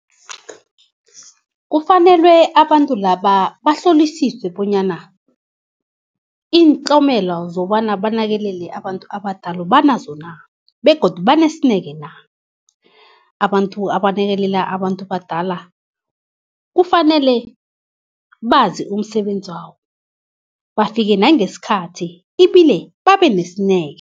Kufanele abantu laba bahlolisiswe bonyana iintlomelo zokobana banakekele abantu abadala banazo na begodu banesineke na. Abantu abanakekela abantu badala kufanele bazi umsebenzi wabo, bafike nangesikhathi ibile babe nesineke.